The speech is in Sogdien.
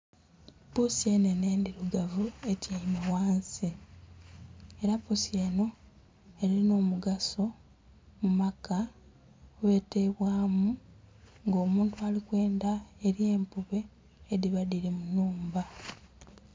Puusi enhenhe endhirugavu etyaime ghansi era puusi eno erinhomugaso mumaka ghetebwa mu nga omuntu alikwendha elye empube edhiba dhiri munhumba.